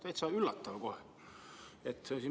Täitsa üllatav kohe!